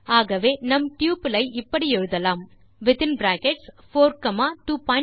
ஆகவே நம் டப்பிள் ஐ இப்படி எழுதலாம் வித்தின் பிராக்கெட்ஸ் 4 காமா 25